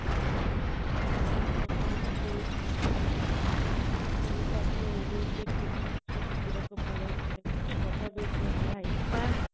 ଆଉ କଣ କହୁଥିଲି କି ମୁଁ ଯୋଉ ପୁଣି ତାକୁ oreo shake ପିଇବାକୁ ପଳେଇଥିଲେ କେତେ ବଢିଆ ଦେଇଥିଲା ସେଟା i mean